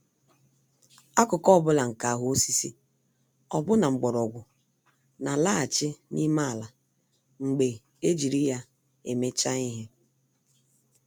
Akụkụ ọ bụla nke ahụ osisi, ọbụna mgbọrọgwụ, n'alaghachi n'ime ala mgbe ejiri ya emechaa ihe.